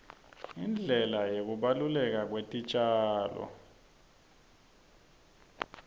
indlela yekubaluleka kwetitjalo